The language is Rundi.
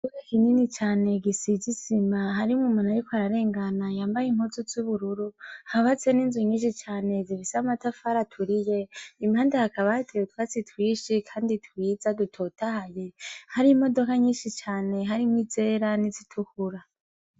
Ikibuga kinini cane gisize isima. Harimwo umuntu ariko ararengana yambaye impuzu z'ubururu, hubatse ninzu nyishi cane zifise amatafari aturiye, impande hakaba hatewe utwatsi twinshi kandi twiza, dutotahaye, hari n'imodoka nyishi cane harimwo izera nizitukura.